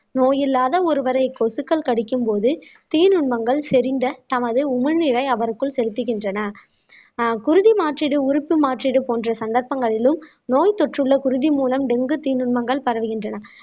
நோய் இல்லாத ஒருவரை கொசுக்கள் கடிக்கும் போது தீநுண்மங்கள் செறிந்த தமது உமிழ்நீரை அவருக்குள் செலுத்துகின்றன ஆஹ் குருதி மாற்றீடு உறுப்பு மாற்றீடு போன்ற சந்தர்ப்பங்களிலும் நோய் தொற்றுள்ள குருதி மூலம் டெங்கு தீநுண்மங்கள் பரவுகின்றன